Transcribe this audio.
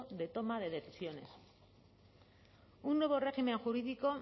de toma de decisiones un nuevo régimen jurídico